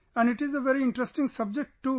and it is a very interesting subject too